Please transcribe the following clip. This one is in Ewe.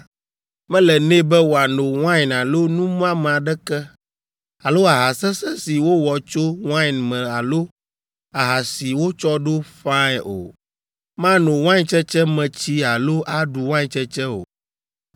mele nɛ be wòano wain alo nu muame aɖeke alo aha sesẽ si wowɔ tso wain me alo aha si wotsɔ ɖo ƒãe o. Mano waintsetse me tsi alo aɖu waintsetse o.